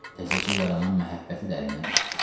Təzəcə yaranan məhəbbəti dərindən getdi.